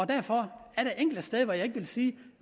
derfor er der enkelte steder hvor jeg kan sige